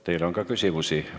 Teile on ka küsimusi.